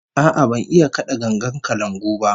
A'a, ban iya kada gangar kalangu ba